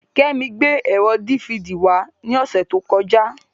Kẹ́mi gbé ẹ̀rọ dífidì wá ní ọ̀sẹ̀ tó kọjá.